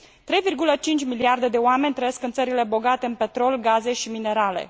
3,5 miliarde de oameni trăiesc în țările bogate în petrol, gaze și minerale.